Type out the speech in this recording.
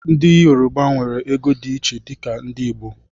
Ndị yorọba nwere ego dị iche dika ndị Igbo